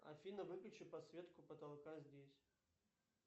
афина выключи подсветку потолка здесь